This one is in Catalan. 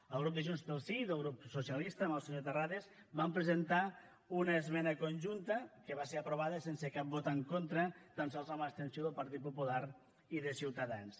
el grup de junts pel sí i el grup socialista amb el senyor terrades vam presentar una esmena conjunta que va ser aprovada sense cap vot en contra tan sols amb l’abstenció del partit popular i de ciutadans